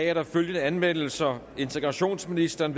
er der følgende anmeldelser integrationsministeren